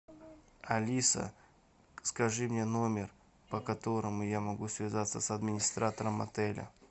алиса скажи мне номер по которому я могу связаться с администратором отеля